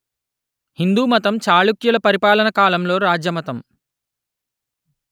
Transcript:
హిందూ మతం చాళుక్యుల పరిపాలన కాలంలో రాజ్య మతం